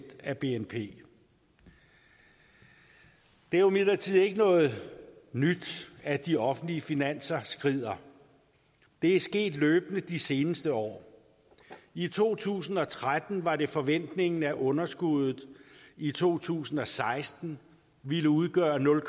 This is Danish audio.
af bnp det er jo imidlertid ikke noget nyt at de offentlige finanser skrider det er sket løbende de seneste år i to tusind og tretten var det forventningen at underskuddet i to tusind og seksten ville udgøre nul